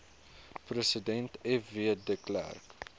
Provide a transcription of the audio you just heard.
president fw de